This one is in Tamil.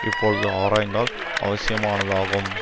இப்பொழுது ஆராய்தல் அவசியமானதாகும்